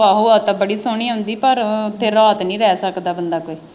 ਆਹੋ ਹਵਾ ਤਾਂ ਬੜੀ ਸੋਹਣੀ ਆਉਂਦੀ ਪਰ ਉੱਥੇ ਰਾਤ ਨਹੀਂ ਜਾ ਸਕਦਾ ਬੰਦਾ ਕੋਈ।